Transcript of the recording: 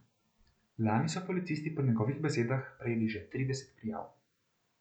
Lani so policisti po njegovih besedah prejeli čez trideset prijav.